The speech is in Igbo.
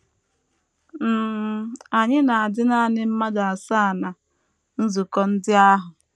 um Anyị na - adị nanị mmadụ asaa ná nzukọ ndị ahụ.